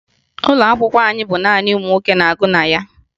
Ụlọ akwụkwọ anyị bụ naanị ụmụ nwoke na-agụ na ya